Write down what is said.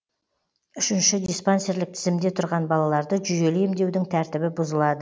үшінші диспансерлік тізімде тұрған балаларды жүйелі емдеудің тәртібі бұзылады